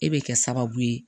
E bɛ kɛ sababu ye